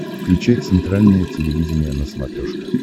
включай центральное телевидение на смотрешке